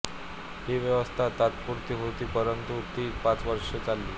ही व्यवस्था तात्पुरती होती परंतु ती पाच वर्षे चालली